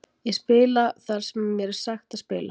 Ég spila þar sem mér er sagt að spila.